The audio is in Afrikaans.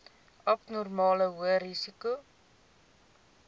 abnormale hoë risiko